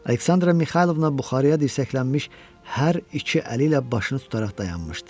Aleksandra Mixaylovna buxarıya dirsəklənmiş hər iki əli ilə başını tutaraq dayanmışdı.